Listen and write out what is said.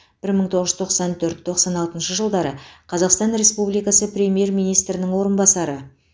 бір мың тоғыз жүз тоқсан төрт тоқсан алтыншы жылдары қазақстан республикасы премьер министрінің орынбасары